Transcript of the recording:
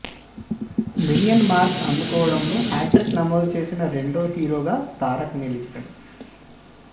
million mark అందుకోవడంలో hat trick నమోదు చేసిన రెండో హీరోగా తారక్ నిలిచాడు